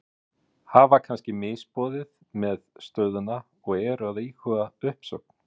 Hafa kannski misboðið með stöðuna og eru að íhuga uppsögn?